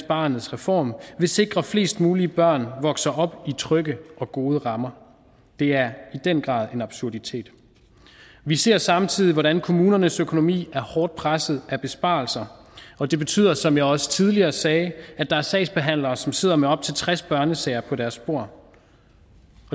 barnets reform vil sikre at flest mulige børn vokser op i trygge og gode rammer det er i den grad en absurditet vi ser samtidig hvordan kommunernes økonomi er hårdt presset af besparelser og det betyder som jeg også tidligere sagde at der er sagsbehandlere som sidder med op til tres børnesager på deres bord